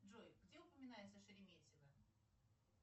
джой где упоминается шереметьево